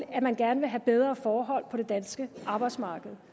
at man gerne vil have bedre forhold på det danske arbejdsmarked